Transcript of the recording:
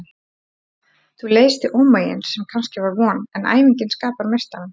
Þú leiðst í ómegin sem kannski var von, en æfingin skapar meistarann.